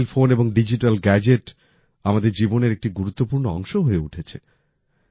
mobile phone এবং digital gadget আমাদের জীবনের একটি গুরুত্বপূর্ণ অংশ হয়ে উঠেছে